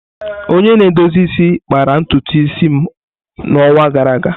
Onye na-edozi isi kpara ntutu isi m n'ọnwa gara aga.